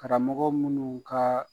Karamɔgɔ munnu kaaa